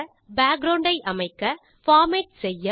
background ஐ அமைக்க format செய்ய